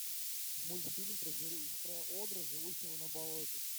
мультфильм про огра живущего на болоте